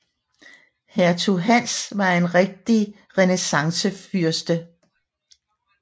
Hertug Hans var en rigtig renæssancefyrste